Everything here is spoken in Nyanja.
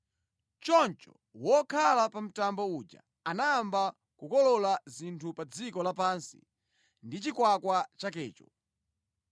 Choncho wokhala pa mtambo uja anayamba kukolola dzinthu pa dziko lapansi ndi chikwakwa chakecho.